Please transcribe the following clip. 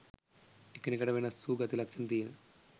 එකිනෙකට වෙනස් වූ ගති ලක්ෂණ තියෙන